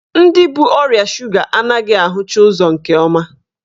Ndị bu ọrịa suga anaghị ahụcha ụzọ nke ọma.